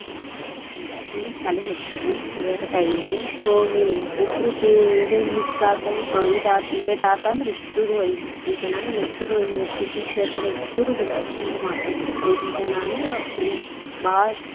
ಹತ್ತ ಗಂಟೆ ಆತ ಅಂದ್ರ ಶಾಲಿಗ ಹೋಗತಿದ್ವಿ prayer time ಗೆ, ಹೋಗಿ ಒಬ್ರು miss ಆತ ಇದ್ late ಆತಂದ್ರ ಇಸ್ಟುರು PT sir ಕಡೆ ಇಸ್ಟುರು ಹಿಂಗ ಮಾಡ್ತಿದ್ವಿ ಐದು ಜನಾ ಅಂದ್ರ full ಬಾಳ.